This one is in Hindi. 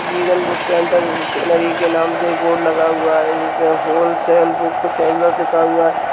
विगन बुक सेंटर स्टेशनरी के नाम से एक बोर्ड लगा हुआ है। जिसमें होलसेल बुक सेलर लिखा हुआ --